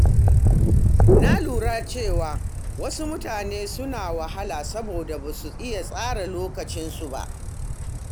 Na lura cewa wasu mutane suna wahala saboda ba su iya tsara lokacinsu ba.